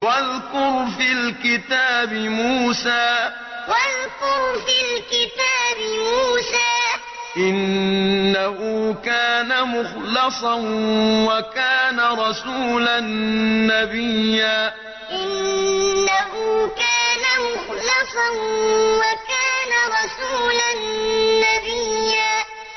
وَاذْكُرْ فِي الْكِتَابِ مُوسَىٰ ۚ إِنَّهُ كَانَ مُخْلَصًا وَكَانَ رَسُولًا نَّبِيًّا وَاذْكُرْ فِي الْكِتَابِ مُوسَىٰ ۚ إِنَّهُ كَانَ مُخْلَصًا وَكَانَ رَسُولًا نَّبِيًّا